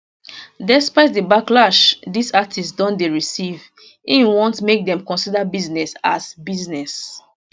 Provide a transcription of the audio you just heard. despite di backlash dis artistes don dey receive im want make dem consider business as business